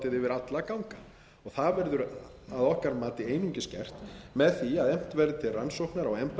alla ganga það verður að okkar mati einungis gert með því að efnt verði til rannsóknar á embættisfærslum og